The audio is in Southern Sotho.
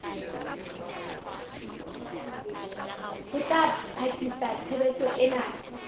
ho ka potlakisa tshebetso ena